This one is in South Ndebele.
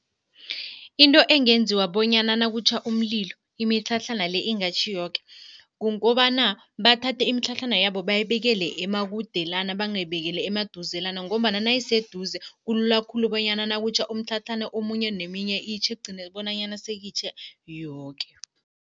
Into engenziwa bonyana nakutjha umlilo imitlhatlhana le ingatjhI yoke, kukobana bathathe imitlhatlhana yabo bayibekele emakudelana, bangayibekeli emaduzelana ngombana nayiseduze kulula khulu bonyana nakutjha umtlhatlhana omunye, neminye itjhe kugcine bonanyana seyitjhe yoke.